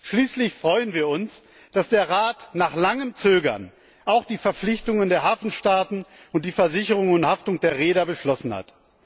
Schließlich freuen wir uns, dass der Rat nach langem Zögern auch die Verpflichtungen der Hafenstaaten und die Versicherung und Haftung der Reeder beschlossen hat.